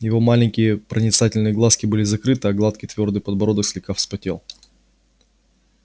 его маленькие проницательные глазки были закрыты а гладкий твёрдый подбородок слегка вспотел